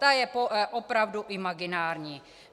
Ta je opravdu imaginární.